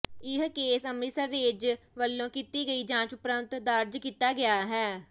ਇਹ case Amritsar range ਵੱਲੋਂ ਕੀਤੀ ਗਈ ਜਾਂਚ ਉਪਰੰਤ ਦਰਜ ਕੀਤਾ ਗਿਆ ਹੈ